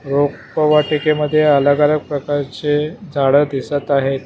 रोपवाटिकेमध्ये अलग अलग प्रकारचे झाड दिसत आहेत.